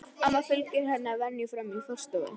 Amma fylgir henni að venju fram í forstofu.